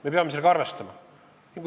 Me peame sellega arvestama.